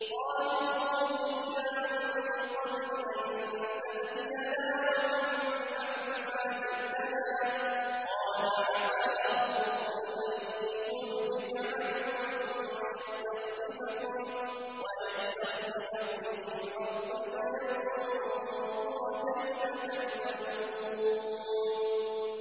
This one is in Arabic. قَالُوا أُوذِينَا مِن قَبْلِ أَن تَأْتِيَنَا وَمِن بَعْدِ مَا جِئْتَنَا ۚ قَالَ عَسَىٰ رَبُّكُمْ أَن يُهْلِكَ عَدُوَّكُمْ وَيَسْتَخْلِفَكُمْ فِي الْأَرْضِ فَيَنظُرَ كَيْفَ تَعْمَلُونَ